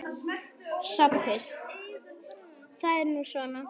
SOPHUS: Það er nú svona.